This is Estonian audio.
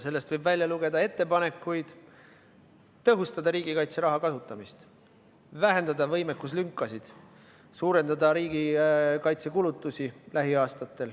Sellest võib välja lugeda ettepaneku tõhustada riigikaitseraha kasutamist, vähendada võimekuslünki ja suurendada lähiaastatel riigikaitsekulutusi.